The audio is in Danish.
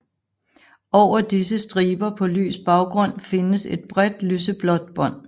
Over disse striber på lys baggrund findes et bredt lyseblåt bånd